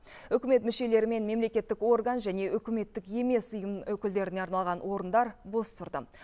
үкімет мүшелері мен мемлекеттік орган және үкіметтік емес ұйым өкілдеріне арналған орындар бос тұрды